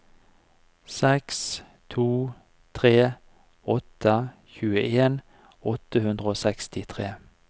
seks to tre åtte tjueen åtte hundre og sekstitre